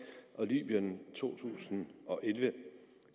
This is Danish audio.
og libyen to tusind og elleve